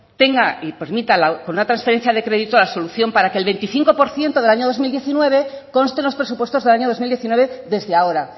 tenga y permita con una transferencia de crédito la solución para que le veinticinco por ciento del dos mil diecinueve conste en los presupuestos del año dos mil diecinueve desde ahora